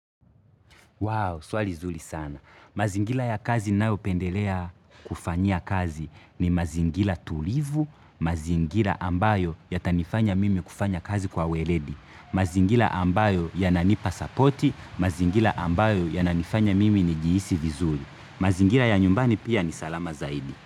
Wow swali zuri sana. Mazingira ya kazi ninayo pendelea kufanya kazi ni mazingira tulivu, mazingira ambayo yata nifanya mimi kufanya kazi kwa weledi, mazingira ambayo yananipa sapoti, mazingira ambayo ya nanifanya mimi nijihisi vizuri. Mazingila ya nyumbani pia ni salama zaidi.